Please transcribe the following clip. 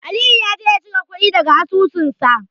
Aliyu ya je ya cire kuɗi daga asusunsa.